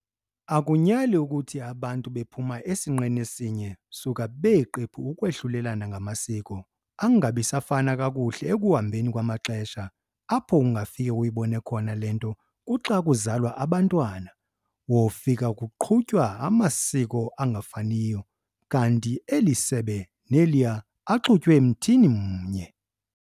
Akunyali ukuthi abantu bephuma sinqeni sinye suka beeqebu ukwahlulelana ngamasiko, angabi safana kakuhle ekuhambeni kwamaxesha. Apho ungafike uyibone khona le nto kuxa kuzalwa abantwana, wofika kuqhutywa amasiko angafaniyo kanti eli sebe neliya axhuxulwe mthini mnye.